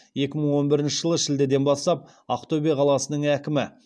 екі мың он бірінші жылы шілдеден бастап ақтөбе қаласының әкімі